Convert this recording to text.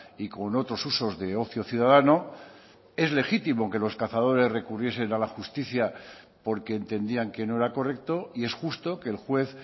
y con otros usos de ocio ciudadano es legítimo que los cazadores recurriesen a la justicia porque entendían que no era correcto y es justo que el juez